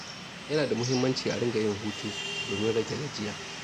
Yana da muhimmanci a dinga yin hutu domin rage gajiya.